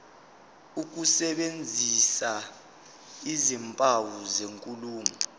ukusebenzisa izimpawu zenkulumo